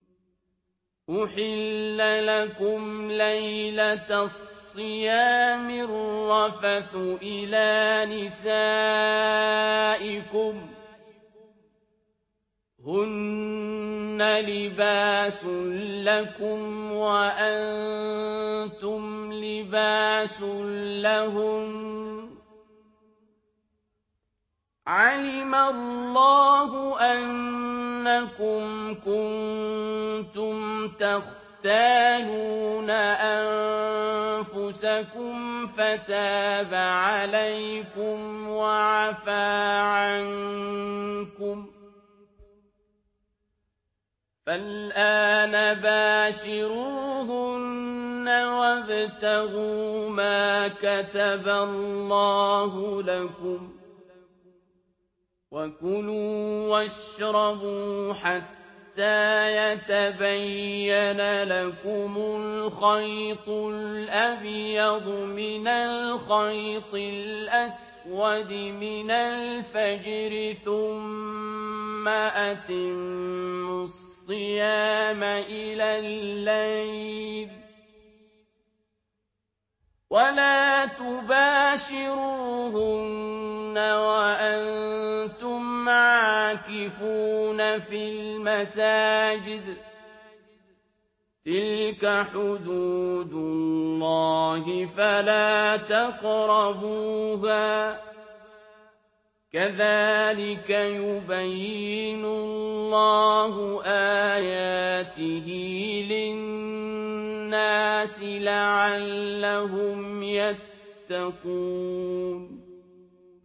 أُحِلَّ لَكُمْ لَيْلَةَ الصِّيَامِ الرَّفَثُ إِلَىٰ نِسَائِكُمْ ۚ هُنَّ لِبَاسٌ لَّكُمْ وَأَنتُمْ لِبَاسٌ لَّهُنَّ ۗ عَلِمَ اللَّهُ أَنَّكُمْ كُنتُمْ تَخْتَانُونَ أَنفُسَكُمْ فَتَابَ عَلَيْكُمْ وَعَفَا عَنكُمْ ۖ فَالْآنَ بَاشِرُوهُنَّ وَابْتَغُوا مَا كَتَبَ اللَّهُ لَكُمْ ۚ وَكُلُوا وَاشْرَبُوا حَتَّىٰ يَتَبَيَّنَ لَكُمُ الْخَيْطُ الْأَبْيَضُ مِنَ الْخَيْطِ الْأَسْوَدِ مِنَ الْفَجْرِ ۖ ثُمَّ أَتِمُّوا الصِّيَامَ إِلَى اللَّيْلِ ۚ وَلَا تُبَاشِرُوهُنَّ وَأَنتُمْ عَاكِفُونَ فِي الْمَسَاجِدِ ۗ تِلْكَ حُدُودُ اللَّهِ فَلَا تَقْرَبُوهَا ۗ كَذَٰلِكَ يُبَيِّنُ اللَّهُ آيَاتِهِ لِلنَّاسِ لَعَلَّهُمْ يَتَّقُونَ